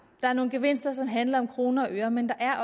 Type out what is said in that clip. der er nogle gevinster som handler om kroner og øre men der er